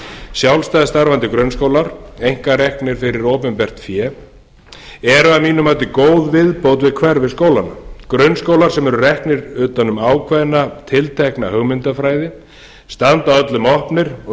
sjálfstætt starfandi grunnskólar einkareknir fyrir opinbert fé eru að mínu mati góð viðbót við hverfisskólana grunnskólar sem eru reknir utan um ákveðna tiltekna hugmyndafræði standa öllum opnir og